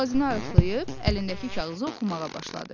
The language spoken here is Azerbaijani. Boğazını arıtlayıb əlindəki kağızı oxumağa başladı.